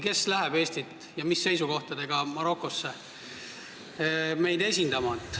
Kes läheb Marokosse Eestit esindama ja mis seisukohtadega?